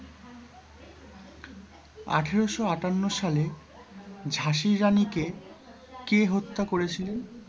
আঠারোশো আটান্ন সালে ঝাঁসির রানীকে কে হত্যা করেছিলেন?